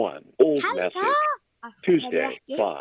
Helga: Af hverju ekki?